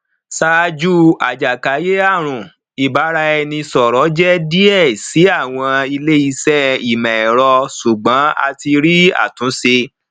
ṣaaju ajakayearun ibaraẹnisọrọ jẹ diẹ si awọn ileiṣẹ imọẹrọ ṣugbọn a ti rii atunṣe